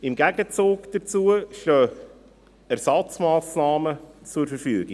Im Gegenzug dazu stehen Ersatzmassnahmen zur Verfügung.